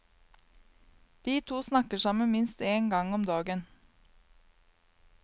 De to snakker sammen minst en gang om dagen.